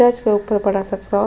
church के ऊपर बड़ा सा क्रॉ --